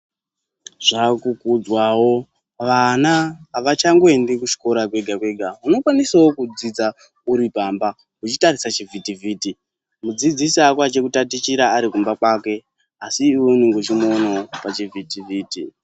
Zvaakukudzwawo vana avachangoendi kuchikora kwega kwega unokwanisawo kudzidza uri pamba uchitarisa chivhitivhiti mudzidzisi ako achikuyatichira ari kumba kwake asi iwe unonge uchimuonawo pachivhitivhiti.